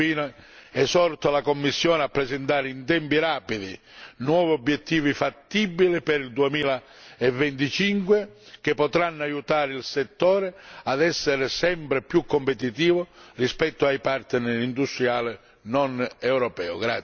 Infine, esorto la Commissione a presentare in tempi rapidi nuovi obiettivi fattibili per il 2025, che potranno aiutare il settore a essere sempre più competitivo rispetto al partner industriale non europeo.